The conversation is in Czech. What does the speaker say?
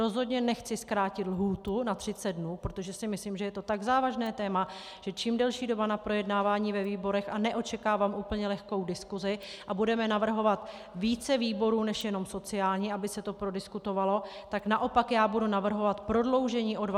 Rozhodně nechci zkrátit lhůtu na 30 dnů, protože si myslím, že je to tak závažné téma, že čím delší doba na projednávání ve výborech - a neočekávám úplně lehkou diskusi, a budeme navrhovat více výborů než jenom sociální, aby se to prodiskutovalo, tak naopak já budu navrhovat prodloužení o 20 dnů.